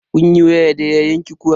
Kun yi waya da yayanki kuwa?